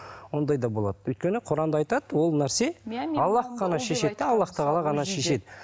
ондай да болады өйткені құранда айтады ол нәрсе аллах қана шешеді де аллах тағала ғана шешеді